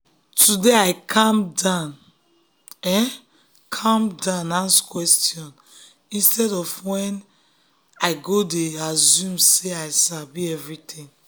today i um calm down um calm down um ask question instead wey i um go dey assume sey i sabi everything.